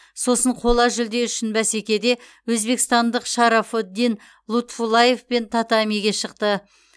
сосын қола жүлде үшін бәсекеде өзбекстандық шарафоддин лутфуллаевпен татамиге шықты